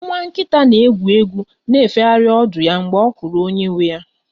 Nwa nkita na-egwu egwu na-efegharị ọdụ ya mgbe ọ hụrụ onye nwe ya